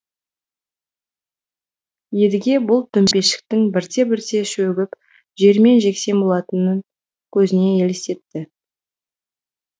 едіге бұл төмпешіктің бірте бірте шөгіп жермен жексен болатынын көзіне елестетті